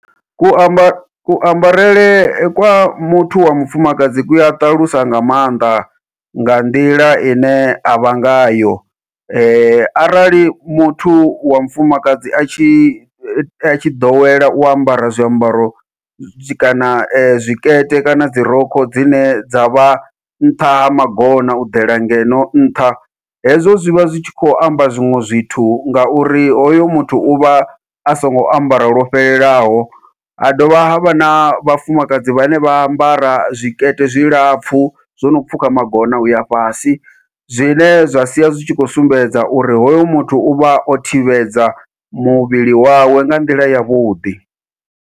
Ku ambarele ku ambarele kwa muthu wa mufumakadzi ku a ṱalusa nga maanḓa nga nḓila ine avha ngayo, arali muthu wa mufumakadzi atshi atshi ḓowela u ambara zwiambaro, zwi kana zwikete kana dzi rokho dzine dza vha nṱha ha magona u ḓela ngeno nṱha. Hezwo zwivha zwi tshi khou amba zwiṅwe zwithu ngauri hoyo muthu uvha a songo ambara lwo fhelelaho ha dovha havha na vhafumakadzi vhane vha ambara zwikete zwilapfhu, zwo no pfhuka magona uya fhasi zwine zwa sia zwi tshi kho sumbedza uri hoyu muthu uvha o thivhedza muvhili wawe nga nḓila yavhuḓi.